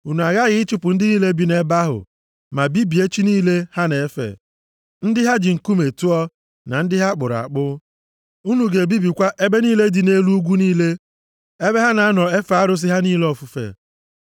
unu aghaghị ịchụpụ ndị niile bi nʼebe ahụ ma bibie chi niile ha na-efe, ndị ha ji nkume tụọ na ndị ha kpụrụ akpụ. Unu ga-ebibikwa ebe niile dị nʼelu ugwu niile, ebe ha na-anọ efe arụsị ha niile ofufe.